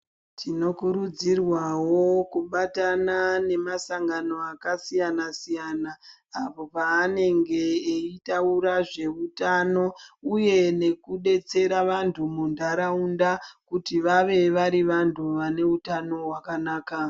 Tinokurudzirwawo kubatana nemasangano akasiyana siyana apo panenge eitaura zvehutano uye nekudetsera antu mundaraunda kuti vave vari vantu vane hutano hwakanaka.